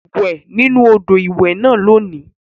Wẹ̀ nínú odò ìwẹ̀ náà lónìí